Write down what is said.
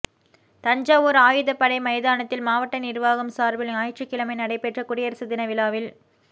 தஞ்சாவூா் ஆயுதப் படை மைதானத்தில் மாவட்ட நிா்வாகம் சாா்பில் ஞாயிற்றுக்கிழமை நடைபெற்ற குடியரசு தின விழாவில்